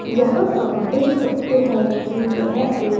यहां हम देख सकते है की यह एक --